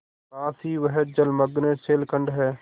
पास ही वह जलमग्न शैलखंड है